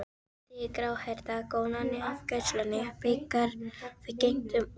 spurði gráhærða konan í afgreiðslunni þegar við gengum út.